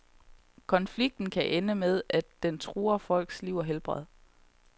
Konflikten kan ende med, at den truer folks liv og helbred.